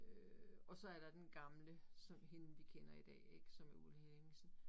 Øh og så er der den gamle som hende vi kender i dag ik som er Ulla Henningsen